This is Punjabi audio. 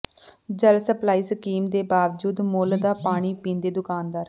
ਜਲ ਸਪਲਾਈ ਸਕੀਮ ਦੇ ਬਾਵਜੂਦ ਮੁੱਲ ਦਾ ਪਾਣੀ ਪੀਂਦੇ ਦੁਕਾਨਦਾਰ